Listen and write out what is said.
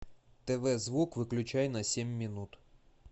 тв звук выключай на семь минут